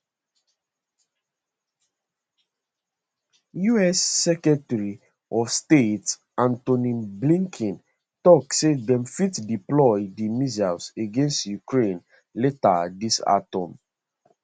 us secretary of state anthony blinken tok say dem fit deploy di missiles against ukraine later dis autumn